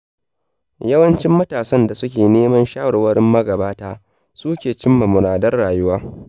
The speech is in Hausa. Yawancin matasan da suke neman shawarwarin magabata, su ke cimma muradan rayuwa.